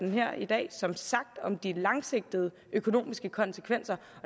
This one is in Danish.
her i dag som sagt om de langsigtede økonomiske konsekvenser